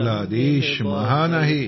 आपला देश महान आहे